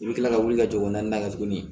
I bɛ kila ka wuli ka jɔ na tuguni